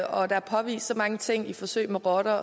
og der er påvist så mange ting i forsøg med rotter